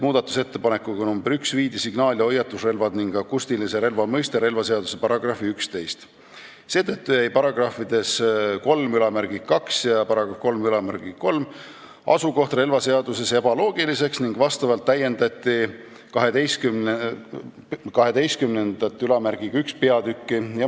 Muudatusettepanekuga nr 1 viidi signaal- ja hoiatusrelvad ning akustilise relva mõiste relvaseaduse § 11 alla, seetõttu jäi §-des 32 ja 33 asukoht relvaseaduses ebaloogiliseks ning tuli täiendada peatükki § 121.